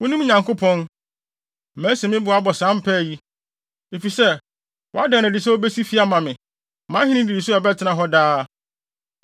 “Wo me Nyankopɔn, masi me bo abɔ saa mpae yi, efisɛ woada no adi sɛ wubesi fi ama me, mʼahenni nnidiso a ɛbɛtena hɔ daa.